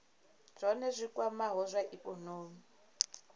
zwohe zwi kwamaho zwa ikonomi